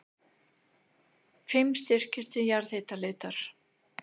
Fimm styrkir til jarðhitaleitar